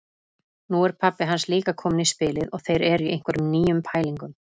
Nú er pabbi hans líka kominn í spilið og þeir eru í einhverjum nýjum pælingum.